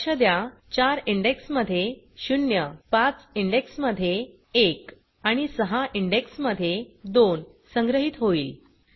लक्ष द्या 4 इंडेक्स 0 मध्ये 5 इंडेक्स 1 मध्ये आणि 6 इंडेक्स 2 मध्ये संग्रहीत होईल